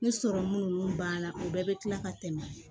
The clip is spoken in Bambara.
Ni sɔrɔmu ninnu banna u bɛɛ bɛ tila ka tɛmɛ